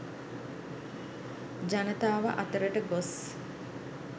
ජනතාව අතරට ගොස්